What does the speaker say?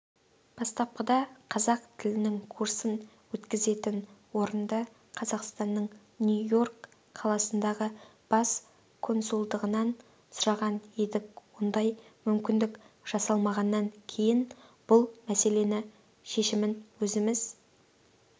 бастапқыда қазақ тілінің курсын өткізетін орынды қазақстанның нью-йорк қаласындағы бас консулдығынан сұраған едік ондай мүмкіндік жасалмағаннан кейін бұл мәселені шешімін өзіміз